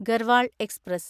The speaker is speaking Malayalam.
ഗർവാൾ എക്സ്പ്രസ്